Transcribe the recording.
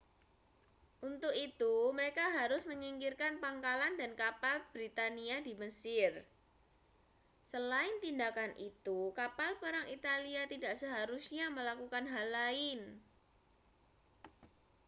untuk itu mereka harus menyingkirkan pangkalan dan kapal britania di mesir selain tindakan itu kapal perang italia tidak seharusnya melakukan hal lain